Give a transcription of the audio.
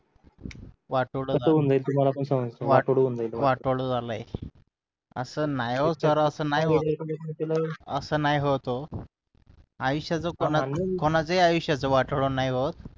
वाटोळं होऊन जाईल असं न्हाई होत हो असं नाही होत हो आयुष्यच कोणाच्याही आयुष्यच वाटोळं नाही होत